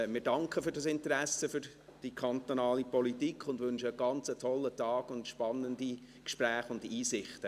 Wir danken für dieses Interesse an der kantonalen Politik und wünschen einen ganz tollen Tag sowie spannende Gespräche und Einsichten.